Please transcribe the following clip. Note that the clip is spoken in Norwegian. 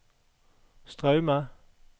Straume